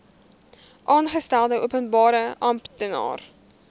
aangestelde openbare amptenaar